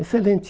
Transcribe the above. Excelente.